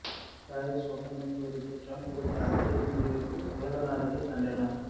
Paris ஒப்பந்தம் குறித்து Trump எடுத்த அதிரடி முடிவுக்கு உலக நாடுகள் கண்டனம்